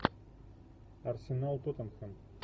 арсенал тоттенхэм